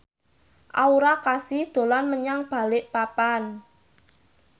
Aura Kasih dolan menyang Balikpapan